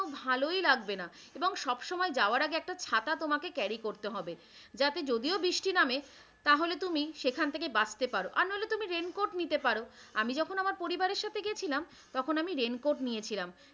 ভালই লাগবে না এবং সব সময় যাওয়ার আগে একটা ছাতা তোমাকে carry করতে হবে যাতে যদিও বৃষ্টি নামে তাহলে তুমি সেখান থেকে বাঁচতে পারো আর না হলে তুমি raincoat নিতে পারো। আমি যখন আমার পরিবারের সাথে গিয়েছিলাম তখন আমি raincoat নিয়েছিলাম।